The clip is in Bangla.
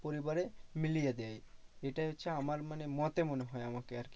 পরিবারে মিলিয়ে দেয়। এটাই হচ্ছে আমার মানে মতে মনে হয় আমাকে আরকি।